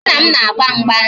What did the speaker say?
Nna m na-agba mgba